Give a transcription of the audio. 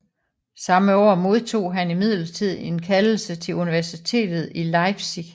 Samme år modtog han imidlertid en kaldelse til universitetet i Leipzig